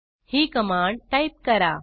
ही command type करा